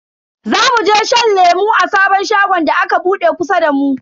Zamu je shan lemu a sabon shagon da aka bude kusa da mu.